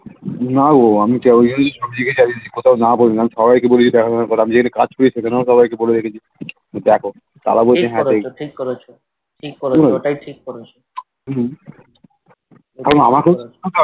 না গো আমি না বললাম একটা সবাইকে বলে কাজ করলাম সবাইকে বলে দেখেছি যে দেখ হম হম